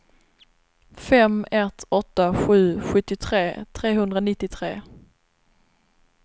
fem ett åtta sju sjuttiotre trehundranittiotre